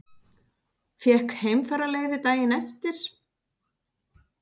Fékk heimfararleyfi daginn eftir.